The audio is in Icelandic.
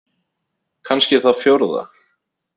Kannski það fjórða.